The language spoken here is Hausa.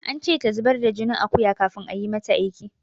An ce ta zubar da jinin akuya kafin ayi mata aiki.